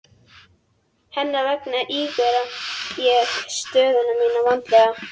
Hennar vegna ígrundaði ég stöðu mína vandlega.